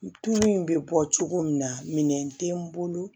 Tulu in bɛ bɔ cogo min na minɛn tɛ n bolo